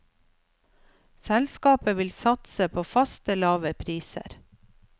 Selskapet vil satse på faste, lave priser.